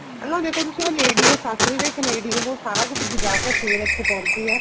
ਅੱਗਲਾ ਦੇਖੋ ਤੁਸੀਂ ਉਹ lady ਏ ਸੱਸ ਵੀ ਤੇ ਇੱਕ lady ਏ ਉਹ ਸਾਰਾ ਕੁੱਛ ਬੂਜਾ ਕੇ ਫ਼ੇਰ ਇੱਥੇ ਪਹੁੰਚੀ ਏ